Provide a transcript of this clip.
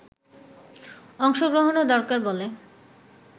অংশগ্রহণও দরকার বলে